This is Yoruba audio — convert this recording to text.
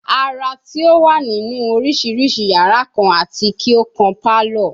Ara ti o wa ninu oriširiši yara kan ati ki o kan palour